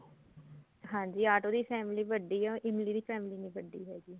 ਹਾਂਜੀ ਆਟੋ ਦੀ family ਵੱਡੀ ਐ ਉਹ ਇਮਲੀ ਦੀ family ਨੀ ਵੱਡੀ ਹੈਗੀ